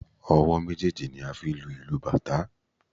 Ọwọ́ méjèèjì ni a fi ń lu ìlù bàtá.